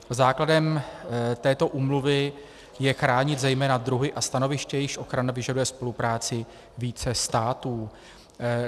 Základem této úmluvy je chránit zejména druhy a stanoviště, jejichž ochrana vyžaduje spolupráci více států.